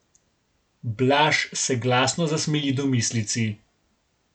Blaž se glasno zasmeji domislici.